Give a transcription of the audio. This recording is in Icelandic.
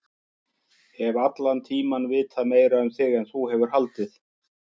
Hef allan tímann vitað meira um þig en þú hefur haldið.